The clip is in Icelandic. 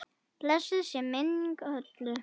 Blessuð sé minning Hollu.